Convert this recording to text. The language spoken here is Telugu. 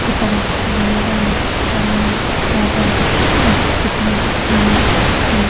ఇక్కడ బండ పైన చాలా చేపలు పెట్టినట్లు మనము ఈ --